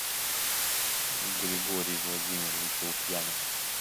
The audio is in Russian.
григорий владимирович лукьянов